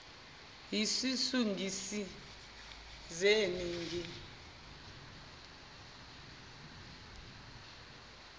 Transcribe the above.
yisisu ngisizeni ngi